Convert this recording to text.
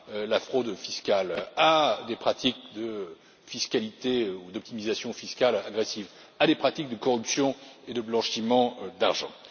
la fraude fiscale, à des pratiques de fiscalité ou d'optimisation fiscale agressives, à des pratiques de corruption et de blanchiment d'argent.